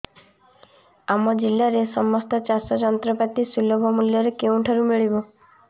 ଆମ ଜିଲ୍ଲାରେ ସମସ୍ତ ଚାଷ ଯନ୍ତ୍ରପାତି ସୁଲଭ ମୁଲ୍ଯରେ କେଉଁଠାରୁ ମିଳିବ